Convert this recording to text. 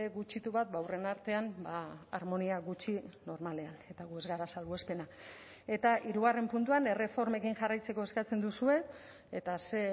gutxitu bat ba aurren artean harmonia gutxi normalean eta gu ez gara salbuespena eta hirugarren puntuan erreformekin jarraitzeko eskatzen duzue eta ze